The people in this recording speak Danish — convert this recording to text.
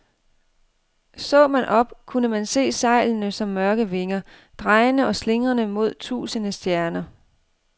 Så man op, kunne man se sejlene som mørke vinger, drejende og slingrende mod tusinde stjerner.